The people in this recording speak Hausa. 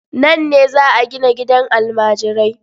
Nan ne za a gina gidan almajirai.